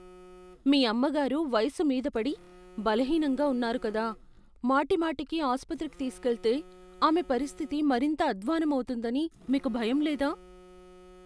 మీ అమ్మగారు వయసు మీద పడి, బలహీనంగా ఉన్నారు కదా, మాటిమాటికి ఆసుపత్రికి తీసుకెళ్తే ఆమె పరిస్థితి మరింత అధ్వాన్నం అవుతుందని మీకు భయం లేదా?